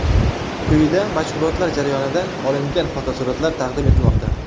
Quyida mashg‘ulotlar jarayonidan olingan fotosuratlar taqdim etilmoqda.